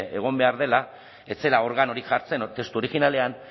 egon behar direla ez zela organorik testu originalean